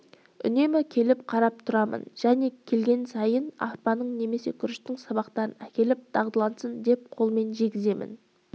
үнемі келіп қарап тұрамын және келген сайын арпаның немесе күріштің сабақтарын әкеліп дағдылансын деп қолыммен жегіземін